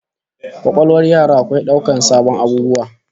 Kwakwalwar yara akwai daukar sabbin abubuwa